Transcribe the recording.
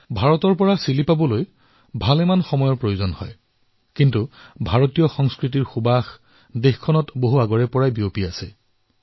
ভাৰতৰ পৰা চিলিলৈ যাবলৈ বহু সময় লাগে কিন্তু ভাৰতীয় সংস্কৃতিৰ সুবাস তাত বহু আগৰে পৰা বিয়পি আছে